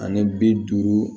Ani bi duuru